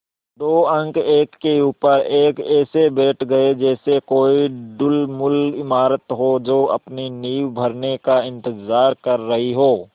दो अंक एक के ऊपर एक ऐसे बैठ गये जैसे कोई ढुलमुल इमारत हो जो अपनी नींव भरने का इन्तज़ार कर रही हो